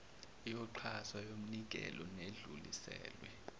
yoxhaso yomnikelo nedluliselwe